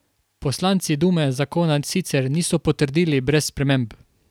Poslanci dume zakona sicer niso potrdili brez sprememb.